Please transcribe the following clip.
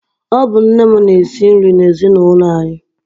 Ọ bụ nne m na-esi nri n'ezinaụlọ anyị.